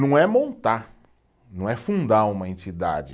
Não é montar, não é fundar uma entidade.